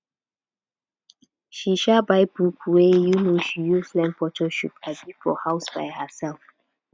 she um buy book wey um she use learn photoshop um for house by herself